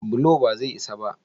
bulo ba zai isa ba?